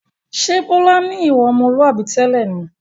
Ṣé Bọlá ni ìwà ọmọlúwàbí tẹ́lẹ̀ ni?